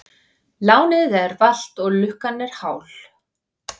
Lánið er valt og lukkan hál.